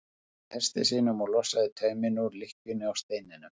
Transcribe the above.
Hann gekk að hesti sínum og losaði tauminn úr lykkjunni á steininum.